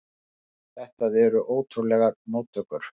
Þetta voru ótrúlegar móttökur.